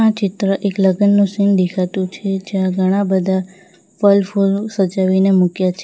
ચિત્ર એક લગ્નનો સીન દેખાતું છે જ્યાં ઘણા બધા ફલ ફૂલ સજાવીને મૂક્યા છે.